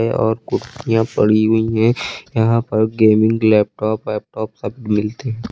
है और कुर्सियां पड़ी हुई हैं। यहां पर गेमिंग लैपटॉप वैपटॉप सब मिलते हैं।